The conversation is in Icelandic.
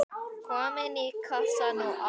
Komin í kassann og allt.